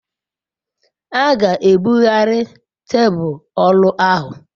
a ga ebughari tebul oru ahu